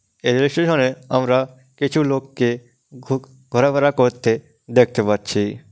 এই rail station এ আমরা কিছু লোককে ঘো-ঘোরাফেরা করতে দেখতে পাচ্ছি।